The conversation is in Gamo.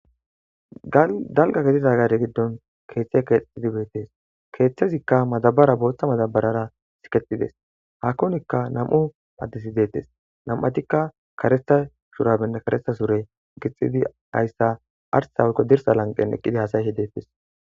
Daligga gidida gade gidoni kethayi kexetidatissa bessesi kethazikka madabara botha madabarara siketidesi hakonika namu'u adeti bettesi nam'utikka karetha shurabene karetha sure gixidi arissa woyiko dirissa laniqeni eqidi hasayishe detesi